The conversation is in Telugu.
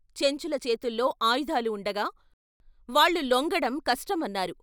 చెంచుల చేతుల్లో ఆయుధాలు వుండగా వాళ్లు లొంగడం కష్టం అన్నారు.